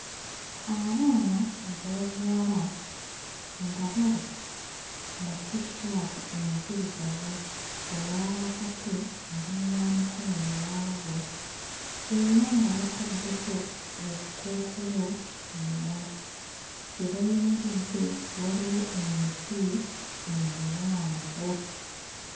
Abaana ab'obuwala nga bali mu T-shirt enzirugavu, owa wakati ali mu yamikono miwanvu era nga bataddeko obukookolo ku mimwa, we bayimiridde waliwo emiti emiwanvu.